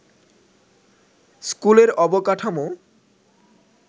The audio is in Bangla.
স্কুলের অবকাঠমো